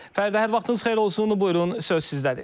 Fəridə, hər vaxtınız xeyir olsun, buyurun, söz sizdədir.